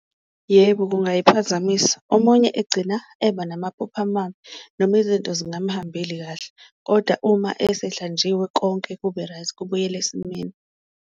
Yebo, kungayiphazamisa omunye egcina eba namaphupho amabi noma izinto zingamhambeli kahle, koda uma esehlanjiwe konke kube-right kubuyele esimeni.